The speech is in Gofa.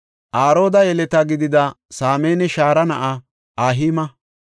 Arooda yeleta gidida Saamanne Shaara na7aa Ahi7aama,